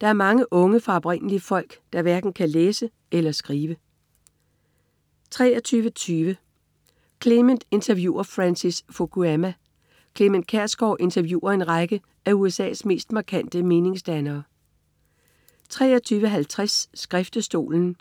Der er mange unge fra oprindelige folk, der hverken kan læse eller skrive 23.20 Clement interviewer Francis Fukuyama. Clement Kjersgaard interviewer en række af USA's mest markante meningsdannere 23.50 Skriftestolen*